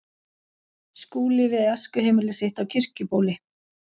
Skúli við æskuheimili sitt á Kirkjubóli.